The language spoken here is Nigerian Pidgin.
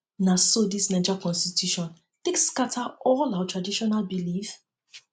na so dis naija constitution take scatter all um our traditional um belief um